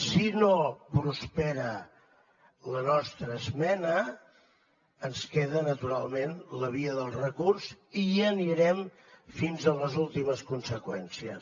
si no prospera la nostra esmena ens queda naturalment la via del recurs i anirem fins a les últimes conseqüències